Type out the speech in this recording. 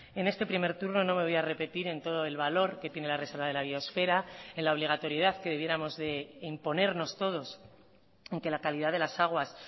en este primer turno no me voy a repetir en todo el valor que tiene la reserva de la biosfera en la obligatoriedad que debiéramos de imponernos todos en que la calidad de las aguas